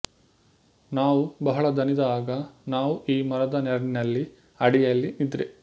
ನಾವು ಬಹಳ ದಣಿದ ಆಗ ನಾವು ಈ ಮರದ ನೆರಳಿನಲ್ಲಿ ಅಡಿಯಲ್ಲಿ ನಿದ್ರೆ